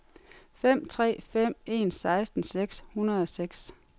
fem tre fem en seksten seks hundrede og seks